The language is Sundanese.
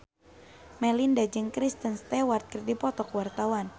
Melinda jeung Kristen Stewart keur dipoto ku wartawan